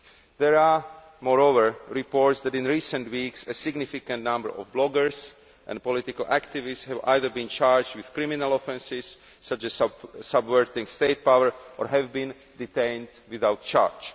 There are, moreover, reports that in recent weeks, a significant number of bloggers and political activists have either been charged with criminal offences, such as subverting state power, or have been detained without charge.